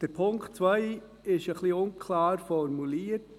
Der Punkt 2 ist ein wenig unklar formuliert.